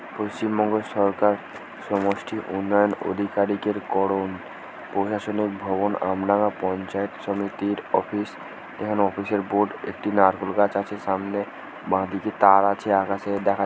পশ্চিমবঙ্গ সরকারসমষ্টি উন্নয়ন অধিকারীকের করণ প্রশাসনিক ভবন আমরা পঞ্চায়েত সমিতির অফিস এখানে অফিস -এর বোর্ড একটি নারকেল গাছ আছে সামনে বাঁদিকে তার আছে আকাশে দেখা--